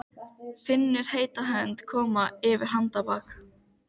Álíka og línudans yfir hengiflugi með spriklandi manneskju í þyngdarpunkti.